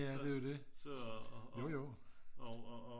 jamen det er jo det jojo